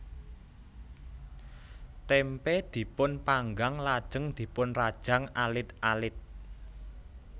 Témpé dipun panggang lajeng dipunrajang alit alit